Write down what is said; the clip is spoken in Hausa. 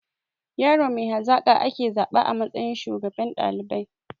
Yaro mai hazaƙa ake zaba a matsayin shugaban ɗalibai